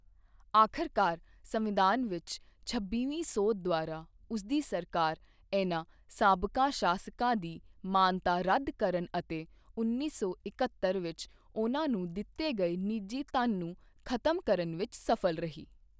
ਆਖ਼ਰਕਾਰ, ਸੰਵਿਧਾਨ ਵਿੱਚ ਛੱਬੀਵੀਂ ਸੋਧ ਦੁਆਰਾ ਉਸਦੀ ਸਰਕਾਰ ਇਹਨਾਂ ਸਾਬਕਾ ਸ਼ਾਸਕਾਂ ਦੀ ਮਾਨਤਾ ਰੱਦ ਕਰਨ ਅਤੇ ਉੱਨੀ ਸੌ ਇਕਹੱਤਰ ਵਿੱਚ ਉਹਨਾਂ ਨੂੰ ਦਿੱਤੇ ਗਏ ਨਿੱਜੀ ਧਨ ਨੂੰ ਖ਼ਤਮ ਕਰਨ ਵਿੱਚ ਸਫ਼ਲ ਰਹੀ।